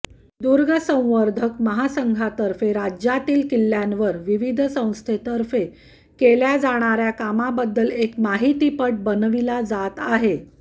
दुर्ग संवर्धक महासंघातर्फे राज्यांतील किल्ल्यांवर विविध संस्थांतर्फे केल्या जाणाऱ्या कामाबद्दल एक माहितीपट बनविला जात आहे